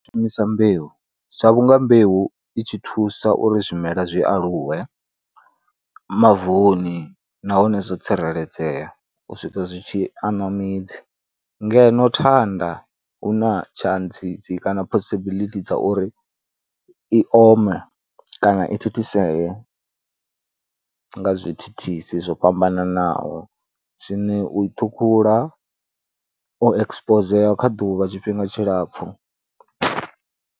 U shumisa mbeu, sa vhunga mbeu i tshi thusa uri zwimela zwi aluwe mavuni nahone zwo tsireledzea u swika zwi tshi aṋwa midzi ngeno thanda hu na tshantsi, dzi kana possibility dza uri i ome kana i thithisee nga zwithithisi zwo fhambananaho zwine u i ṱhukhula o ekisipozea kha ḓuvha tshifhinga tshilapfhu.